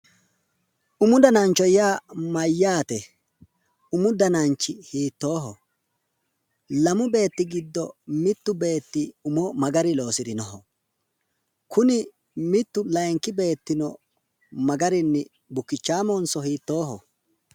mu danancho yaa mayyaate? umu dananchi hiittooho? lamu beetti giddo mittu beetti umo ma garinni loosirino? kuni mittu layiinki beettino ma garinni bukkichaamohnso hiittooho?